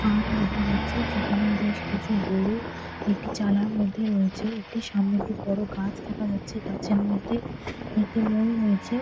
Farm দেখা যাচ্ছে যেখানে বেশ কিছু গরু একটি চালার মধ্যে রয়েছে। একটি সামনে একটি বড় গাছ দেখা যাচ্ছে গাছের মধ্যে একটি মই রয়েছে।